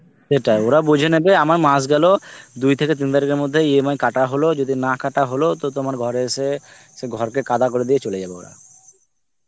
সেটাই. ওরা বুঝে নেবে. আমার মাস গেল দুই থেকে তিন তারিখের মধ্যে EMI কাটা হল. যদি না কাটা হল তো তোমার ঘরে এসে সেই ঘরকে কাদা করে দিয়ে চলে যাবে ওরা.